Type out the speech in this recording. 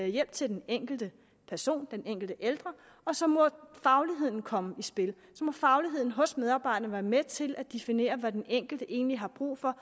hjælp til den enkelte person den enkelte ældre og så må fagligheden komme i spil så må fagligheden hos medarbejderne være med til at definere hvad den enkelte egentlig har brug for